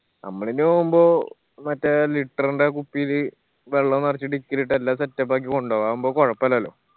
അമ്മളിനി പോവുമ്പോ മറ്റേ litre ന്റെ കുപ്പിയില് വെള്ളം നെറച്ച്‌ dicky ല് ഇട്ട് എല്ലാ setup ആക്കി കൊണ്ടോവാ അതാവുമ്പോ കൊഴപ്പില്ലാല്ലോ